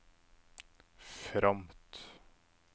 fromt